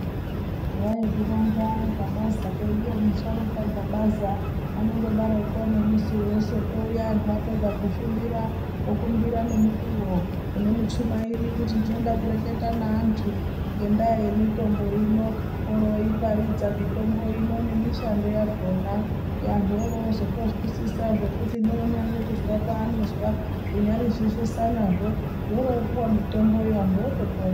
Waizvironza Gabaza, kweduyo musharuka Gabaza anondodaroko nemusi wesoto uuya anhu apedza kushumira okumbira nemukuwo kune muchumairi kuti ndinoda kureketa neantu ngendaa yemitombo ino oroooiparaidza mitombo ino nemishando yakona antu orooto zotozwisisa zvekuti neunyade kuzwa paanozwa zvinyarizveshe anazvo zvoro opuwe mitomboyo anhu otopona.